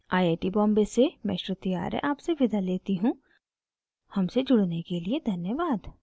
iit iit T Bombay से मैं श्रुति आर्य आपसे विदा लेती हूँ हमसे जुड़ने के लिए धन्यवाद